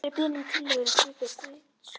Gerður er beðin um tillögur að slíkri skreytingu.